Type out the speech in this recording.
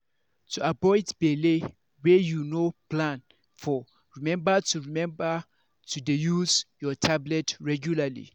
to avoid belle wey you no plan for remember to remember to dey use your tablet regualrly.